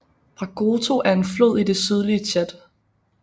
Bragoto er en flod i det sydlige Tchad